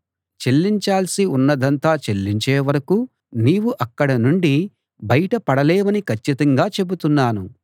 చెల్లించాల్సి ఉన్నదంతా చెల్లించే వరకూ నీవు అక్కడ నుండి బయట పడలేవని కచ్చితంగా చెబుతున్నాను